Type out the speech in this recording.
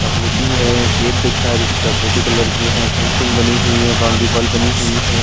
चॉकलेटी है गेट दिख रहा है जो कि चॉकलेटी कलर की है फेंसिंग बनी हुई है बाउंड्री वॉल बनी हुई है।